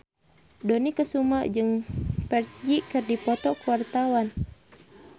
Dony Kesuma jeung Ferdge keur dipoto ku wartawan